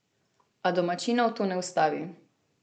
A domačinov to ne ustavi.